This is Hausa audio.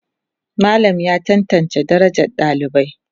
Malam ya tantance darajar dalibai.